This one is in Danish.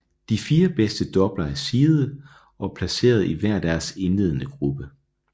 De fire bedst doubler er seedede og er placeret i hver deres indledende gruppe